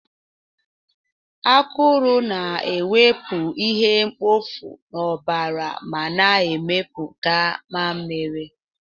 Akụrụ na-ewepụ ihe mkpofu n'ọbara ma na-emepụta mmamịrị